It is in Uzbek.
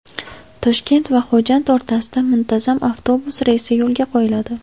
Toshkent va Xo‘jand o‘rtasida muntazam avtobus reysi yo‘lga qo‘yiladi.